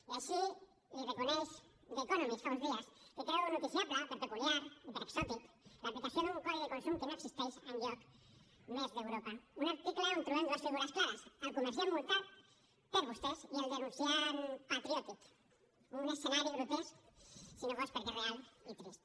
i així ho reconeix the economistnoticiable per peculiar i per exòtic l’aplicació d’un codi de consum que no existeix enlloc més d’europa un article on trobem dues figures clares el comerciant multat per vostès i el denunciant patriòtic un escenari grotesc si no fos perquè és real i trist